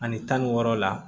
Ani tan ni wɔɔrɔ la